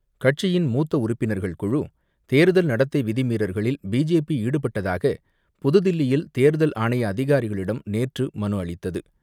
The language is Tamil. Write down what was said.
கட்சியின் மூத்த உறுப்பினர்கள் குழு தேர்தல் நடத்தை விதிமீறல்களில் பிஜேபி ஈடுபட்டதாக புதுதில்லியில் தேர்தல் ஆணைய அதிகாரிகளிடம் நேற்று மனு அளித்தது.